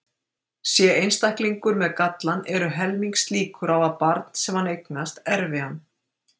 Sé einstaklingur með gallann eru helmingslíkur á að barn sem hann eignast erfi hann.